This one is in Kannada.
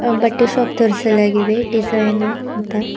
ಬಟ್ಟೆ ಶಾಪ್ ತೋರ್ಸಲಾಗಿದೆ ಡಿಸೈನರ್ ಅಂತ.